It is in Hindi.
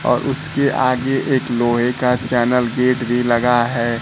और उसके आगे एक लोहे का चैनल गेट भी लगा है।